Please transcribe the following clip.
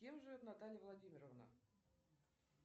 с кем живет наталья владимировна